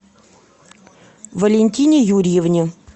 валентине юрьевне